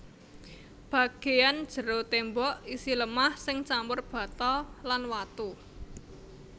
Bagéyan jero témbok isi lemah sing campur bata lan watu